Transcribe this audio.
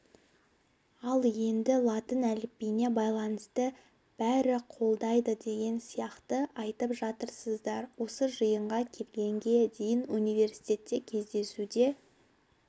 енді латын әліпбиіне байланысты бәрі қолдайды деген сияқты айтып жатырсыздар осы жиынға келгенге дейін университетте кездесуде